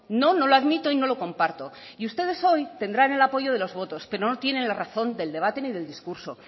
no no lo admito y no lo comparto y ustedes hoy tendrán el apoyo de los votos pero no tienen la razón del debate ni del discurso